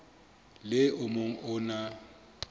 le o mong o na